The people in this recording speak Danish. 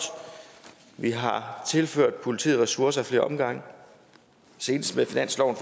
vi har tilført politiet ressourcer ad flere omgange senest med finansloven